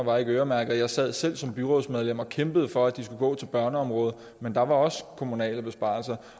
var øremærkede jeg sad selv som byrådsmedlem og kæmpede for at de skulle gå til børneområdet men der var også kommunale besparelser